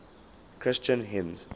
christian hymns